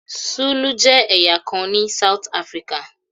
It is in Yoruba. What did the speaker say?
Zulu jẹ́ ẹ̀yà kan ní South Africa.